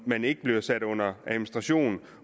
man ikke bliver sat under administration